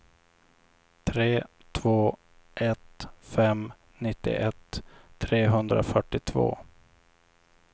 tre två ett fem nittioett trehundrafyrtiotvå